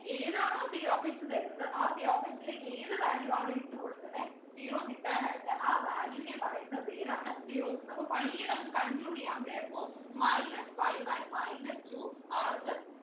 ഏതാണോ p of x തരുന്നത് ആ p of x ലേക്ക് ഏത് Value ആണോ ഇട്ടുകൊടുക്കുന്നെ zero കിട്ടാനായിട്ട് ആ Value വിനെ പറയുന്ന പേരാണ് zeros ന്ന് അപ്പൊ finally നമുക്ക് conclude ചെയ്യാം therefore Minus five and minus two are the